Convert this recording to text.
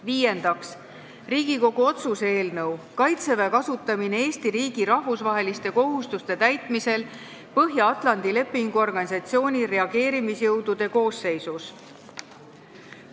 Viiendaks, Riigikogu otsuse "Kaitseväe kasutamine Eesti riigi rahvusvaheliste kohustuste täitmisel Põhja-Atlandi Lepingu Organisatsiooni reageerimisjõudude koosseisus" eelnõu.